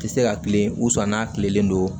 Tɛ se ka tile n'a tilenen don